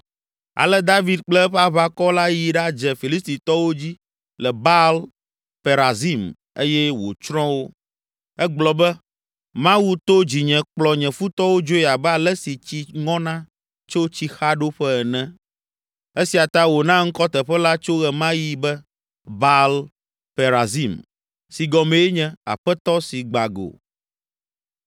Ale David kple eƒe aʋakɔ la yi ɖadze Filistitɔwo dzi le Baal Perazim eye wòtsrɔ̃ wo. Egblɔ be, “Mawu to dzinye kplɔ nye futɔwo dzoe abe ale si tsi ŋɔna tso tsixaɖoƒe ene!” Esia ta wòna ŋkɔ teƒe la tso ɣe ma ɣi be, “Baal Perazim” si gɔmee nye, “Aƒetɔ si gba go.”